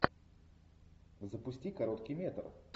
запусти короткий метр